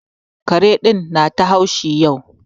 Kare ɗin ya na ta haushi yau.